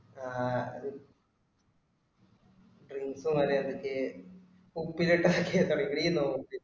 ആഹ് drinks മര്യാദയ്ക്ക് ഉപ്പിലിട്ടതൊക്കെ ഉണ്ടാവും നീ തിന്നോ ഉപ്പിലിട്ടത്